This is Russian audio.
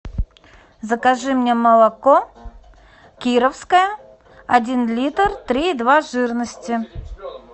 закажи мне молоко кировское один литр три и два жирности